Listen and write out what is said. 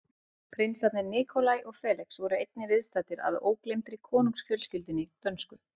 Prinsarnir Nikolaj og Felix voru einnig viðstaddir að ógleymdri konungsfjölskyldunni dönsku.